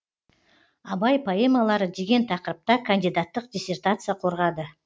абай поэмалары деген тақырыпта кандидаттық диссертация қорғады